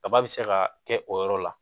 Kaba be se ka kɛ o yɔrɔ la